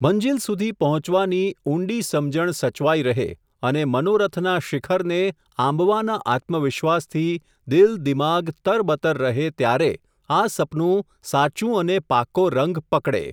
મંઝિલ સુધી પહોંચવાની, ઊંડી સમજણ સચવાઈ રહે, અને, મનોરથના શિખરને, આંબવાના આત્મવિશ્વાસથી, દિલ દિમાગ, તરબતર રહે, ત્યારે, આ સપનું, સાચુ અને પાકો રંગ, પકડે.